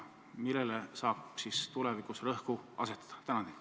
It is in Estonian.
Millele saab tulevikus rõhku asetada?